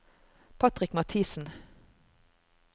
Patrick Mathiesen